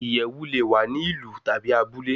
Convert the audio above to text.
Iyẹwu le wa ni ilu tabi abule